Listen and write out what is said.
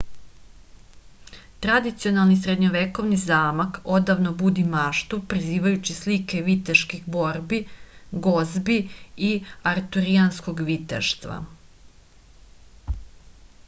tradicionalni srednjovekovni zamak odavno budi maštu prizivajući slike viteških borbi gozbi i arturijanskog viteštva